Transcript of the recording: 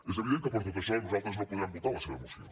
és evident que per tot això nosaltres no podrem votar la seva moció